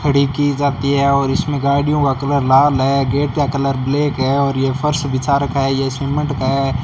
खड़ी की जाती है और इसमें गाड़ियों का कलर लाल है गेट का कलर ब्लैक है और ये फर्श बिछा रखा है ये सीमेंट का है।